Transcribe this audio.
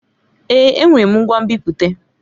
Èé! Enwere m ngwa nbipute.